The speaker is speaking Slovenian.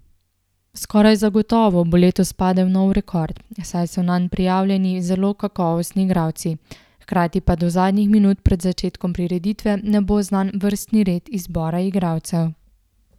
Skoraj zagotovo bo letos padel nov rekord, saj so nanj prijavljeni zelo kakovostni igralci, hkrati pa do zadnjih minut pred začetkom prireditve ne bo znan vrstni red izbora igralcev.